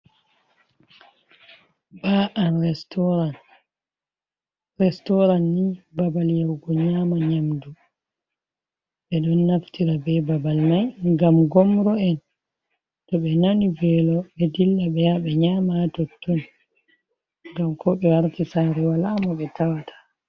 Bar an restoran, restoran ni babal yahugo nyama nyamdu, ɓe ɗon naftira be babal mai ngam gomro en to ɓe nani velo ɓe dilla ɓe ya ɓe nyama ha totton, ngam ko be warti sare wala mo ɓe tawata.